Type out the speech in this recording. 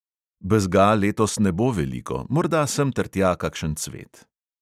Bezga letos ne bo veliko, morda semtertja kakšen cvet.